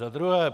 Za druhé.